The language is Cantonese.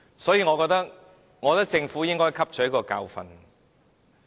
所以，我認為政府應該汲取教訓。